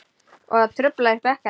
Og það truflar ykkur ekkert?